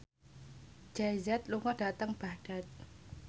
Jay Z lunga dhateng Baghdad